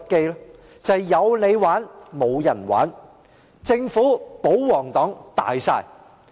便是"有你玩，無人玩"、"政府、保皇黨大晒"。